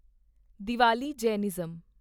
Diwali Jainism